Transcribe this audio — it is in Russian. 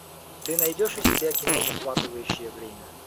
ты найдешь у себя кино захватывающее время